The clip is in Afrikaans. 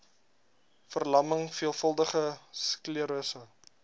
verlamming veelvuldige sklerose